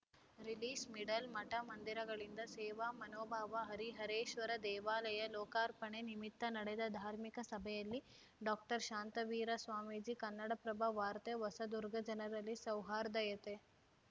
ರಿಲೀಸ್‌ಮಿಡಲ್‌ಮಠಮಂದಿರಗಳಿಂದ ಸೇವಾ ಮನೋಭಾವ ಹರಿಹರೇಶ್ವರ ದೇವಾಲಯ ಲೋಕಾರ್ಪಣೆ ನಿಮಿತ್ತ ನಡೆದ ಧಾರ್ಮಿಕ ಸಭೆಯಲ್ಲಿ ಡಾಶಾಂತವೀರ ಸ್ವಾಮೀಜಿ ಕನ್ನಡಪ್ರಭ ವಾರ್ತೆ ಹೊಸದುರ್ಗ ಜನರಲ್ಲಿ ಸೌಹಾರ್ಧಯತೆ